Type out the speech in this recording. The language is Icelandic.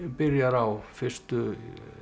byrjar á fyrstu